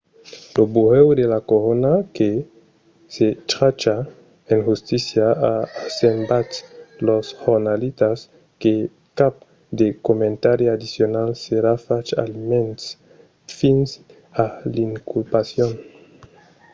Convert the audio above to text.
lo burèu de la corona que se tracha generalament de las accions en justícia a assabentat los jornalitas que cap de comentari addicional serà fach almens fins a l'inculpacion